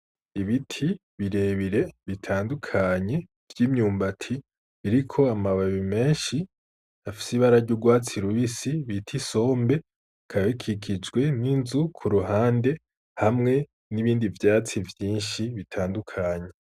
Ibiti birebire bitandukanye, vy'imyumbati biriko amababi menshi, bifise ibara ry'urwatsi bita isombe, bikaba bikijwe n'inzu ku ruhande hamwe n'ibindi vyatsi vyinshi bitandukanye.